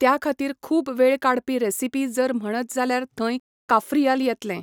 त्या खातीर खूब वेळ काडपी रेसिपी जर म्हणत जाल्यार थंय काफ्रियल येतलें.